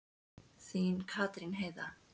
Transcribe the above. Þín, Katrín Heiða.